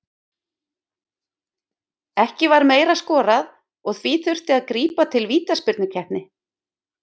Ekki var meira skorað og því þurfti að grípa til vítaspyrnukeppni.